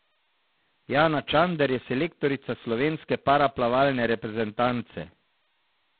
Jana Čander je selektorica slovenske paraplavalne reprezentance.